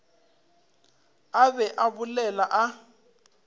a be a bolela a